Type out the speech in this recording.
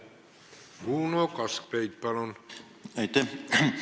Uno Kaskpeit, palun!